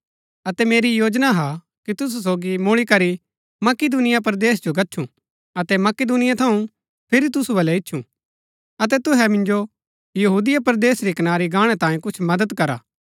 अतै मेरी योजना हा कि तुसु सोगी मुळी करी मकिदूनिया परदेस जो गच्छु अतै मकिदुनिया थऊँ फिरी तुसु बलै ईच्छुं अतै तुहै मिन्जो यहूदिया परदेस री कनारी गाणै तांयै कुछ मदद करा